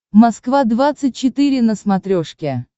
москва двадцать четыре на смотрешке